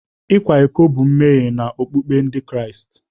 Ịkwa iko bụ mmehie n'okpukpe Ndị Kraịst.